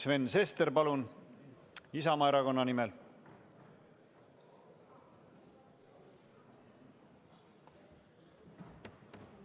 Sven Sester, palun, Isamaa Erakonna nimel!